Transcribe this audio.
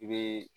I bɛ